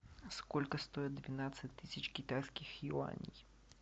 сколько стоит двенадцать тысяч китайских юаней